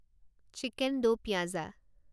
chicken do pyaza